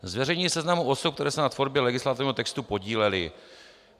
Zveřejnění seznamu osob, které se na tvorbě legislativního textu podílely.